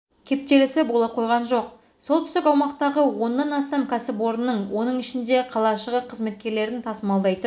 кептелісі бола қойған жоқ солтүстік аумақтағы оннан астам кәсіпорынның оның ішінде қалашығы қызметкерлерін тасымалдайтын